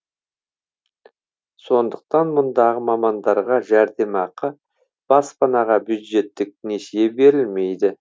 сондықтан мұндағы мамандарға жәрдемақы баспанаға бюджеттік несие берілмейді